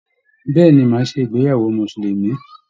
Bẹ̀ẹ́ni, má a ṣe ìgbéyàwó musulumi.